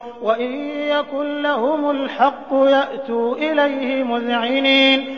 وَإِن يَكُن لَّهُمُ الْحَقُّ يَأْتُوا إِلَيْهِ مُذْعِنِينَ